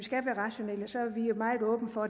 meget åbne for